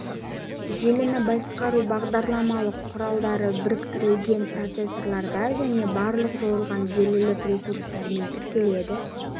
желіні басқару бағдарламалық құралдары біріктірілген процессорларда және барлық жойылған желілік ресурстармен тіркеледі